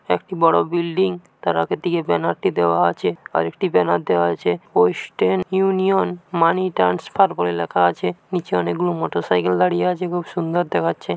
একটি বড়ো বিল্ডিং তার আগের দিকে ব্যানার টি দেওয়া আছে আর একটি ব্যানার দেওয়া হয়েছে ওয়েস্টার্ন ইউনিয়ন মানি ট্রান্সফার বলে লেখা আছে নিচে অনেক গুলো মোটর সাইকেল দাঁড়িয়ে আছে খুব সুন্দর দেখাচ্ছে।